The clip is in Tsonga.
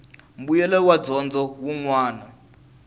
mbuyelo wa dyondzo wun wana